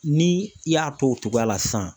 Ni i y'a to o togoya la sisan